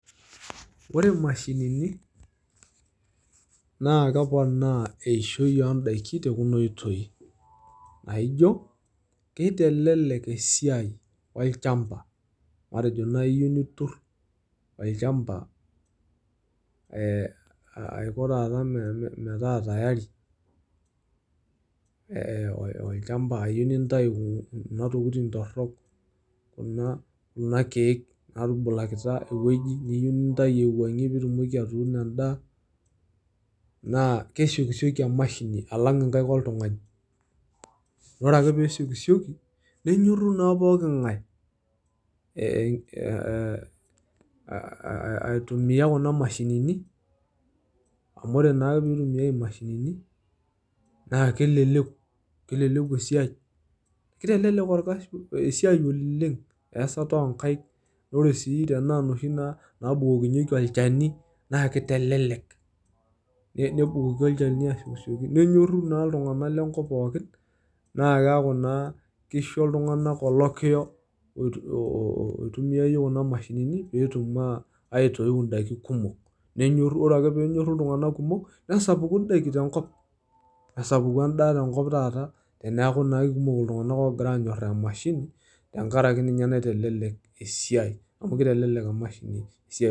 Ore imashinini naa keponaa eishoi oondaki te kuna oitoi, aaijo keitelelek esiaai olchamba matejo enaa iyieu nituur olchamba aiko taata metaa teyari olchamba ayeu niintayu kuna tokitin torok kunaa keek naatubulakita eweji niyieu nintayu aiweng'ie piitumoki atung'o indaa naa keishokishoki imashini alang inkaik oltungani, ore ake peishokishoki nenyoru naa pooki ng'ae aitumiya kuna imashinini amu ore naa peitumiyai imashinini naa keleleku esiaai, keitelelek orkasi esiaai olleeng oasata onkaik, ore sii tenaa noshi naa naabukokinyeki olcheni naa keitelelek enebukoki ilsheni aishokishoki nenyoru naa ltungana le nkop pookin naa keaku naa keisho ltunganak olokiyo oitumiayie kuna imashinini peetum aiitiyiu indaki kumok nenyoru ore ake peenyoru ltunganak kumok nesapuku indaki te nkop, nesapuku endaa te nkop taata, teneaku naa kekumok ltungana oogira anyoraa imashini tengaraki ninye naitelelek wsiaai amu keitelelek emashini esiaai.